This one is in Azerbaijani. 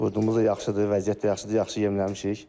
Qurdumuz da yaxşıdır, vəziyyət də yaxşıdır, yaxşı yemləmişik.